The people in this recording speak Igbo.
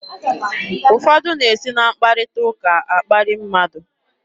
Ụfọdụ na-esi na mkparịta ụka akparị mmadụ.